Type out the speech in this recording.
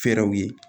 Fɛrɛw ye